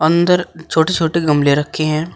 अंदर छोट छोटे गमले रखे हैं।